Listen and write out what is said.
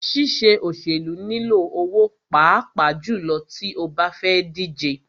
Ṣíṣe òṣèlú nilò owó pàápàá jùlọ tí o bá fẹ́ díje.